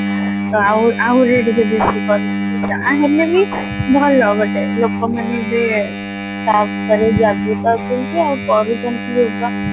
ତ ଆଉ ଆହୁରି ଟିକେ ବେଶି କହିଚନ୍ତି ଯା ହେଲେ ବି ଭଲ but ଲୋକ ମାନେ ଏବେ ଲାଗିଯାଉଚନ୍ତି ଆଉ କରୁଛନ୍ତି yoga